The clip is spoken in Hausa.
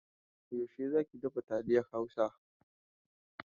Yaushe za ki dafa taliyar Hausa?